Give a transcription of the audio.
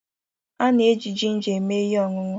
A na-eji jinja eme ihe ọṅụṅụ.